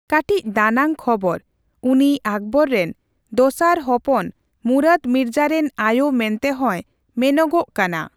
ᱠᱟᱴᱤᱪ ᱫᱟᱱᱟᱝ ᱠᱷᱚᱵᱚᱨ ᱩᱱᱤ ᱟᱠᱵᱚᱨ ᱨᱮᱱ ᱫᱚᱥᱟᱨ ᱦᱚᱯᱚᱱ ᱢᱩᱨᱟᱫ ᱢᱤᱨᱡᱟᱹ ᱨᱮᱱ ᱟᱭᱚ ᱢᱮᱱᱛᱮ ᱦᱚᱭ ᱢᱮᱱᱚᱜᱚᱼᱜ ᱠᱟᱱᱟ ᱾